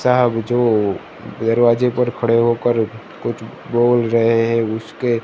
साहब जो दरवाजे पर खड़े होकर कुछ बोल रहे है उसके--